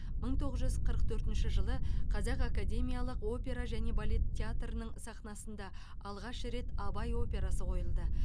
мың тоғыз жүз қырық төртінші жылы қазақ академиялық опера және балет театрының сахнасында алғаш рет абай операсы қойылды